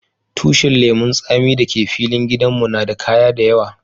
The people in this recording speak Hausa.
Tushin lemun tsami da ke filin gidan mu na de kaya da yawa.